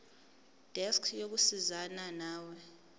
desk yokusizana nawe